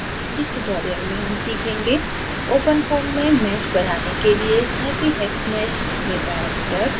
इस tutorial में हम सीखेंगे openfoam में mesh बनाने के लिएsnappyhexmesh में पैरामीटर्स